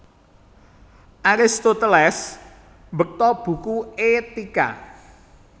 Aristoteles mbekta buku Etika